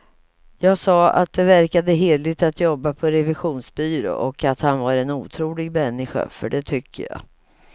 Jag sa att det verkade hederligt att jobba på revisionsbyrå och att han var en otrolig människa, för det tycker jag.